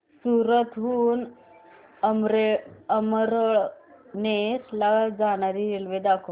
सूरत हून अमळनेर ला जाणारी रेल्वे दाखव